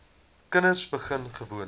kinders begin gewoonlik